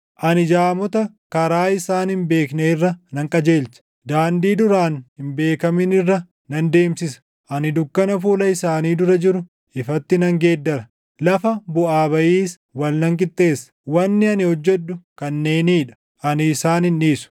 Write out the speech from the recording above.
Ani jaamota karaa isaan hin beekne irra nan qajeelcha; daandii duraan hin beekamin irra nan deemsisa; ani dukkana fuula isaanii dura jiru ifatti nan geeddara; lafa buʼaa bayiis wal nan qixxeessa. Wanni ani hojjedhu kanneenii dha; ani isaan hin dhiisu.